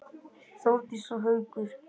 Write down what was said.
Þórdís og Haukur.